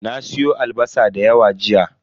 Na siyo albasa da yawa jiya.